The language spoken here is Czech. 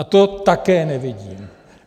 A to také nevidím.